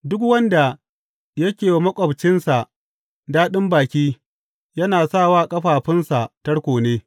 Duk wanda yake wa maƙwabcinsa daɗin baki yana sa wa ƙafafunsa tarko ne.